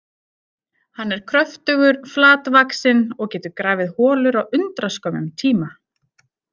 Hann er kröftugur, flatvaxinn og getur grafið holur á undraskömmum tíma.